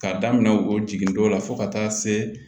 K'a daminɛ o jigindon la fo ka taa se